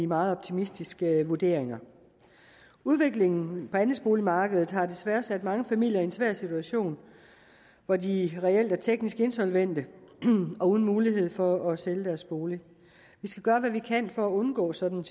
meget optimistiske vurderinger udviklingen på andelsboligmarkedet har desværre sat mange familier i en svær situation hvor de reelt er teknisk insolvente og uden mulighed for at sælge deres bolig vi skal gøre hvad vi kan for at undgå sådan